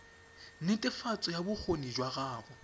netefatso ya bokgoni jwa gago